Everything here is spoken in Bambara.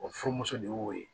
O furumuso de y'o ye